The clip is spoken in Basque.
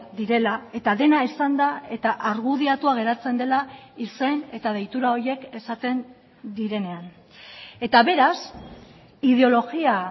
direla eta dena esanda eta argudiatua geratzen dela izen eta deitura horiek esaten direnean eta beraz ideologia